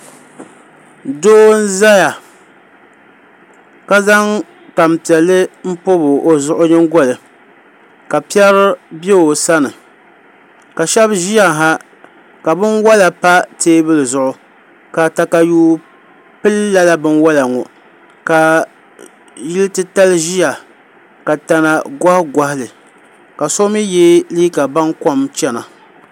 doo n-zaya ka zaŋ tampiɛlli m-pobi o zuɣu nyingoli ka piɛri be o sani ka shɛba ʒiya ha ka binwala pa teebuli zuɣu ka takayuu pili lala binwala ŋɔ ka yili titali ʒiya ka tana gohigohi li ka so mi ye liiga bankom chana